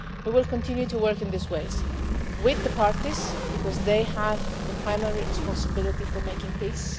We will continue to work in these ways with the parties because they have the primary responsibility for making peace